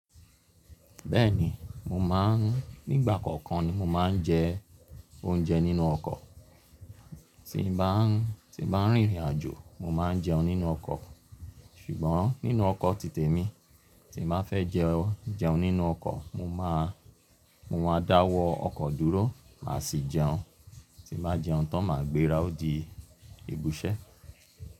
Bẹ́ẹ̀ni, mò ḿáa ń nígbà kọ̀ọ̀kan ni mò máa ń jẹ oúnjẹ nínú ọkọ̀. Tí n ba ń rìn ìrìnàjò mò máa ń jẹun nínú ọkọ̀. Ṣùgbọ́n nínú ọkọ̀ títè mi, tí n ba fẹ́ jẹun nínú ọkọ̀, mò ma dáwọ́ ọkọ̀ dúró màá sì jẹun. Tí n bá jẹun tán màá gbéra ó di ìbisẹ́.